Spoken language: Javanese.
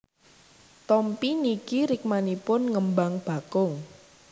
Tompi niki rikmanipun ngembang bakung